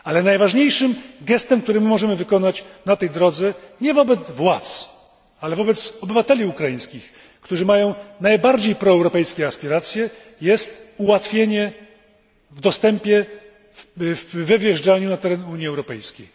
Najważniejszym gestem jednak, który możemy wykonać na tej drodze nie wobec władz, ale wobec obywateli ukraińskich, którzy mają najbardziej proeuropejskie aspiracje jest ułatwienie możliwości wjazdu na teren Unii Europejskiej.